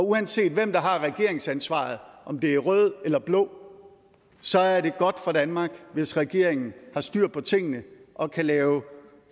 uanset hvem der har regeringsansvaret om det er rød eller blå så er det godt for danmark hvis regeringen har styr på tingene og kan lave